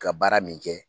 Ka baara min kɛ